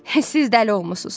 Siz dəli olmusunuz.